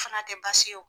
Fana tɛ baasi ye o